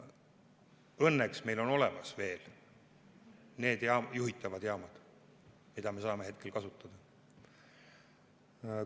Õnneks on meil olemas veel need juhitavad jaamad, mida me saame kasutada.